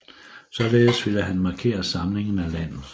Således ville han markere samlingen af landet